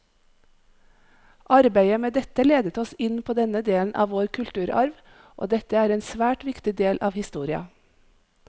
Arbeidet med dette ledet oss inn på denne delen av vår kulturarv, og dette er en svært viktig del av historia.